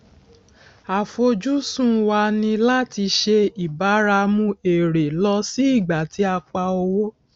àfojúsùn wa ní láti ṣe ìbáramu èrè lọ sí ìgbà tí a pa owó